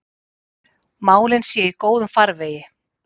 Málin séu í góðum farvegi.